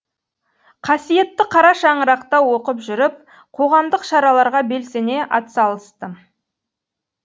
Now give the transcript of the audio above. қасиетті қара шаңырақта оқып жүріп қоғамдық шараларға белсене атсалыстым